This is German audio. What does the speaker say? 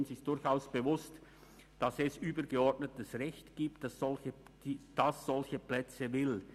Uns ist durchaus bewusst, dass es übergeordnetes Recht gibt, das solche Plätze will.